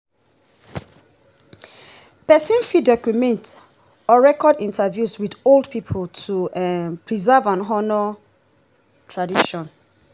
follow the traditions wey already don de exist and make im suit your current lifestyle